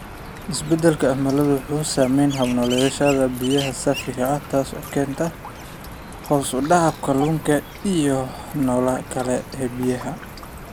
Isbeddelka cimiladu wuxuu saameeyaa hab-nololeedyada biyaha saafiga ah, taasoo keenta hoos u dhaca kalluunka iyo nolosha kale ee biyaha.